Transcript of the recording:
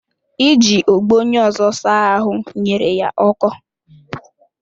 Iji ogbo onye ọzọ saa ahụ nyere ya ọkọ